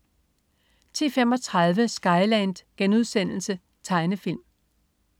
10.35 Skyland.* Tegnefilm